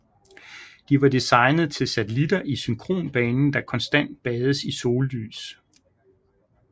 De var designet til satellitter i synkronbanen der konstant bades i sollys